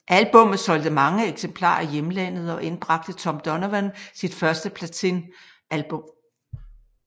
Albummet solgte mange eksemplarer i hjemlandet og indbragte Tom Donovan sit første platinalbum